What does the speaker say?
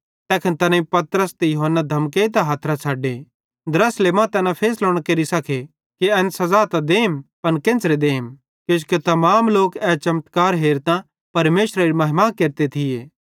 तैखन तैनेईं पतरस ते यूहन्ना धमकेइतां हथरां छ़डे द्रासले मां तैना फैसलो न केरि सके कि एन सज़ा त देम पन केन्च़रे देम किजोकि तमाम लोक ए चमत्कार हेरतां परमेशरेरी महिमा केरते थिये